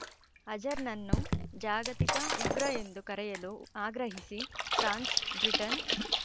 ಅಜರ್‌ನನ್ನು ಜಾಗತಿಕ ಉಗ್ರ ಎಂದು ಕರೆಯಲು ಆಗ್ರಹಿಸಿ ಫ್ರಾನ್ಸ್ ಬ್ರಿಟನ್